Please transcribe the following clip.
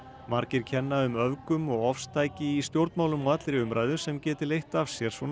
margir kenna um öfgum og ofstæki í stjórnmálum og allri umræðu sem geti leitt af sér svona